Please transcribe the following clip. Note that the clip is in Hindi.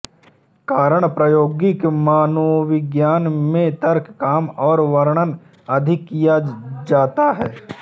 कारण प्रायोगिक मनोविज्ञान में तर्क कम और वर्णन अधिक किया जाता है